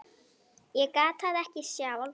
Ég gat það ekki sjálf.